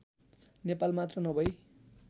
नेपाल मात्र नभई